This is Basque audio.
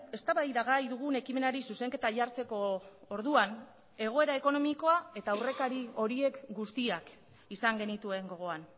eztabaidagai dugun ekimenari zuzenketa jartzeko orduan egoera ekonomikoa eta aurrekari horiek guztiak izan genituen gogoan